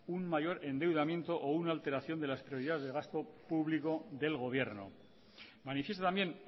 un mayor endeudamiento o una alteración de las prioridades del gasto público del gobierno manifiesta también